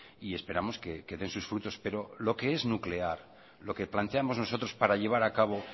y esperamos que den sus frutos pero lo que es nuclear lo que planteamos nosotros para llevar a cabo